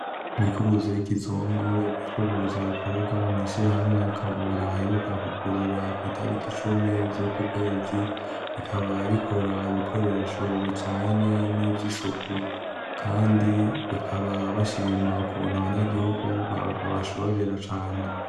Imikubuzo y'ikizungu, imikubuzo ikorerwa mw'ishirahamwe Kabura aheruka kwugurura kw'itariki cumi z'uku kwezi rikaba rikora ibikoresho bijanye n'ivy'isuku, kandi bikaba bashima ukuntu abanyagihugu babashorera cane.